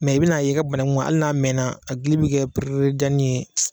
i bɛna ye i ka banagun hali n'a mɛnna a gili bɛ kɛ pere janni ye.